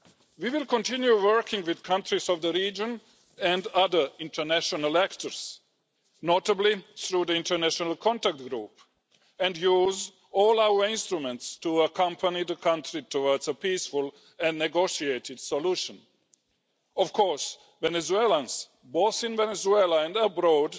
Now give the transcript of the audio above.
We will continue working with countries in the region and other international stakeholders, notably through the International Contact Group, and will use all our instruments to accompany the country towards a peaceful and negotiated solution. Of course, Venezuelans both in Venezuela and abroad